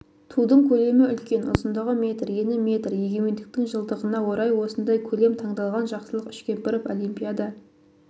тудың көлемі үлкен ұзындығы метр ені метр егемендіктің жылдығына орай осындай көлем таңдалған жақсылық үшкемпіров олимпиада